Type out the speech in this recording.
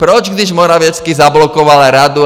Proč, když Morawiecki zablokoval radu?